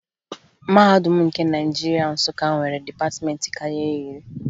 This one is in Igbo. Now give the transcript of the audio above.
Mahadum nke Naịjirịa, Nsụka, nwere dịpatịmentị karịrị iri